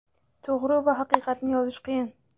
to‘g‘ri va haqiqatni yozish qiyin.